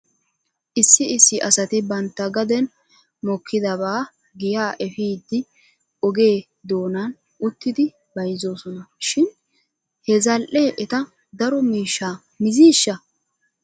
Issi issi asati bantta gaden mokkidabaa giyaa efidi oge doonan uttidi bayzzoosona shin he zal'ee eta daro miishshaa miziishsha ?